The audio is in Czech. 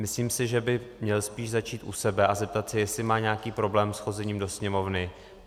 Myslím si, že by měl spíš začít u sebe a zeptat se, jestli má nějaký problém s chozením do Sněmovny.